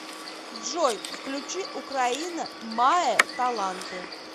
джой включи украина маэ таланты